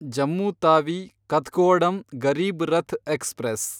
Jammu Tawi Kathgodam Garib Rath express